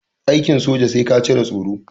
Aikin soja sai ka cire tsoro.